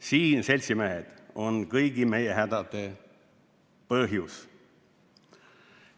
Siin, seltsimehed, on kõigi meie hädade põhjus.